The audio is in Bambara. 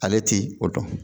Ale ti o dɔn